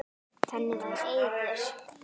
Þannig var Eiður.